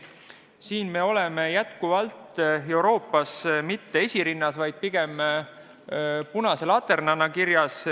Selles osas me oleme jätkuvalt Euroopa Liidus mitte esirinnas, vaid punase laterna rollis.